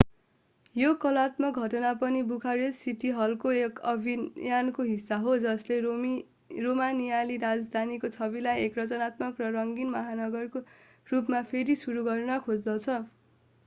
यो कलात्मक घटना पनि बुखारेस्ट सिटी हलको एक अभियानको हिस्सा हो जसले रोमानियाली राजधानीको छविलाई एक रचनात्मक र रंगीन महानगरका रूपमा फेरि सुरू गर्न खोज्दछ